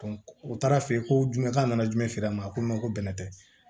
u taara fɛ yen ko jumɛn nana jumɛn feere a ma ko ko bɛnɛ tɛ